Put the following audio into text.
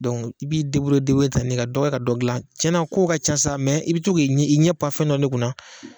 i b'i tan de, ka dɔ kɛ ka dɔ gilan cɛnna kow ka ca sa i bi to k'i ɲɛ pan fɛn dɔ ne kunna